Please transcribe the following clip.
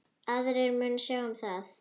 Aðrir munu sjá um það.